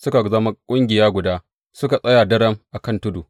Suka zama ƙungiya guda, suka tsaya daram a kan tudu.